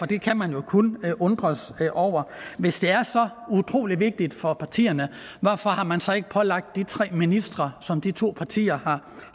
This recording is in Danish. det kan man jo kun undres over hvis det er så utrolig vigtigt for partierne hvorfor har man så ikke pålagt de tre ministre som de to partier